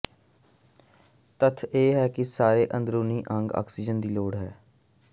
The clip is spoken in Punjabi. ਤੱਥ ਇਹ ਹੈ ਕਿ ਸਾਰੇ ਅੰਦਰੂਨੀ ਅੰਗ ਆਕਸੀਜਨ ਦੀ ਲੋੜ ਹੈ